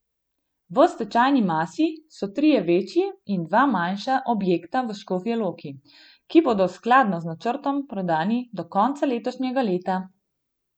V stečajni masi so trije večji in dva manjša objekta v Škofji Loki, ki bodo skladno z načrtom prodani do konca letošnjega leta.